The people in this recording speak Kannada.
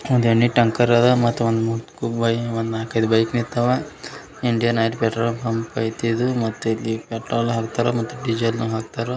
ಇನ್ನೊಂದು ಟ್ಯಾಂಕರ್ ಇದೆ ಮತ್ತು ಬೈಕ್ ನಿಂತಿದ್ದಾವೆ ಇಂಡಿಯನ್ ಆಯಿಲ್ ಪೆಟ್ರೋಲ್ ಬಂಕ್ ಅಂತ ಇದೆ ಇದು.